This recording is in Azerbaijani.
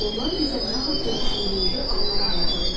Onlar bizə nə haqda düşündüyümüzü anlamaq imkanı verir.